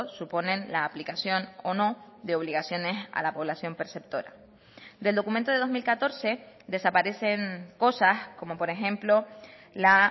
suponen la aplicación o no de obligaciones a la población perceptora del documento de dos mil catorce desaparecen cosas como por ejemplo la